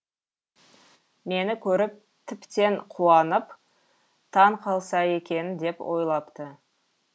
мені көріп тіптен қуанып таң қалса екен деп ойлапты